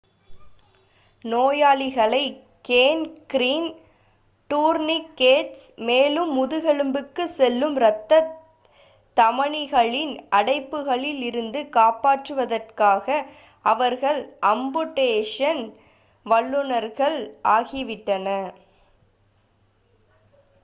நோயாளிகளை gangrene tourniquets மேலும் முதுகெலும்புக்கு செல்லும் ரத்த தமனிகளின் அடைப்புகளில் இருந்து காப்பாற்றுவதற்காக அவர்கள் அம்புடேஷன் வல்லுனர்கள் ஆகிவிட்டனர்